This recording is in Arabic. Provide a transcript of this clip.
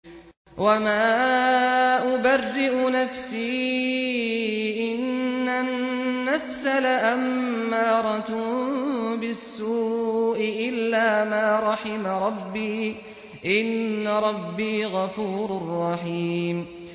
۞ وَمَا أُبَرِّئُ نَفْسِي ۚ إِنَّ النَّفْسَ لَأَمَّارَةٌ بِالسُّوءِ إِلَّا مَا رَحِمَ رَبِّي ۚ إِنَّ رَبِّي غَفُورٌ رَّحِيمٌ